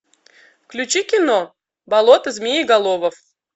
включи кино болото змееголовов